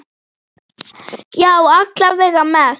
Já, alla vega mest.